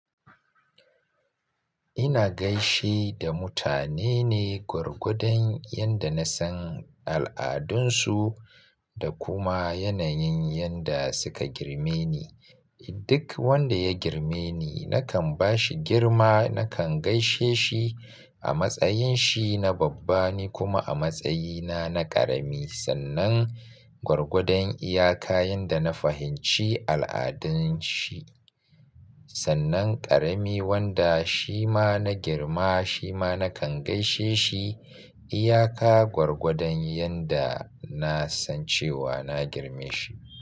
Ina gaishe da mutane ne gwargwadon yadda na san al'adunsu da kuma yanayin yadda suka girme ni. Duk wanda ya girme ni nakan ba shi girma, nakan gaishe shi a matsayin shi na babba ni kuma a matsayina na ƙarami sannan gwargwadon iyaka yadda na fahimci al'adun shi. Sannan ƙarami wanda shi ma na girma shi ma nakan gaishe shi iyaka gwargwadon yadda na san cewa na girme shi.